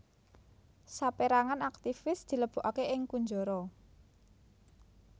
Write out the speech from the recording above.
Saperangan aktivis dilebokake ing kunjara